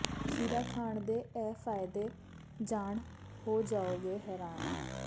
ਖੀਰਾ ਖਾਣ ਦੇ ਇਹ ਫਾਇਦੇ ਜਾਣ ਹੋ ਜਾਓਗੇ ਹੈਰਾਨ